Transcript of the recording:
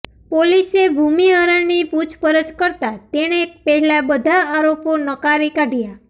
પોલીસે ભુમિહરની પૂછપરછ કરતા તેણે પહેલા બધા આરોપો નકારી કાઢ્યા